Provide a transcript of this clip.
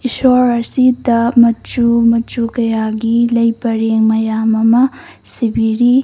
ꯏꯁꯣꯔ ꯑꯁꯤꯗ ꯃꯆꯨ ꯃꯆꯨ ꯀꯌꯥꯒꯤ ꯂꯩ ꯄꯔꯦꯡ ꯃꯌꯥꯝ ꯑꯃ ꯁꯤꯕꯤꯔꯤ꯫